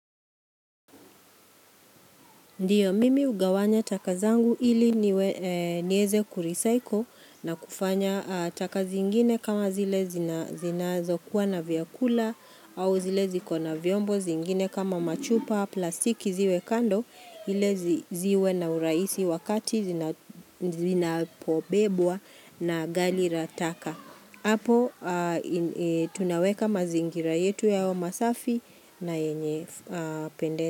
Ndiyo mimi ugawanya taka zangu ili niweze kurecyle na kufanya taka zingine kama zile zinazo kuwa na vyakula au zile zikona vyombo zingine kama machupa plastiki ziwe kando ili ziwe na urahisi wakati zina pobebwa na gari la taka. Apo tunaweka mazingira yetu yawe masafi na yenye pende.